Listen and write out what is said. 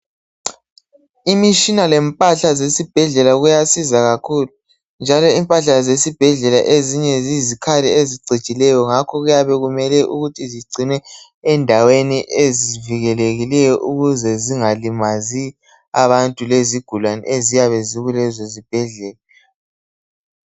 Imitshina lempahla zesibhedlela kuyasiza kakhulu njalo impahla zesibhedlela ezinye ziyizikhali ezicijileyo ngakho kuyabe kumele ukuthi zigcinwe endaweni ezivikelekileyo ukuze zingalimazi abantu lezigulane eziyabe zikulezo zibhedlela.